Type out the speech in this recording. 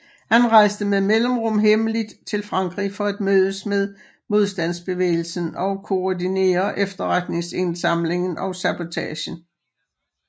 Han rejste med mellemrum hemmeligt til Frankrig for at mødes med modstandsbevægelsen og koordinere efterretningsindsamlingen og sabotagen